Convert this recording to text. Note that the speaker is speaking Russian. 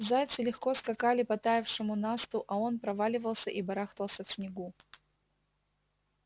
зайцы легко скакали по таявшему насту а он проваливался и барахтался в снегу